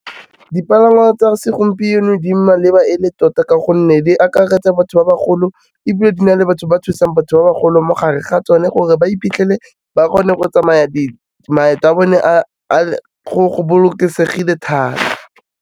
Dipalangwa tsa segompieno di maleba e le tota ka gonne, di akaretsa batho ba bagolo ebile di na le batho ba thusang batho ba bagolo mo gare ga tsone gore ba iphitlhele ba kgone go tsamaya, maeto a bone a go bolokesegile thata.